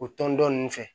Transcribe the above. O tɔn dɔ ninnu fɛ